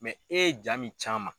e ye jaa min c'an ma